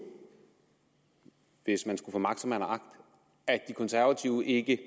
hvis man skulle få magt som man har agt at de konservative ikke